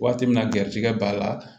Waati min na garijɛgɛ b'a la